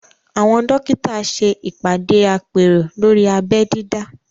Àwọn dókítà ṣe ìpàdé àpérò lórí abẹ́ dídá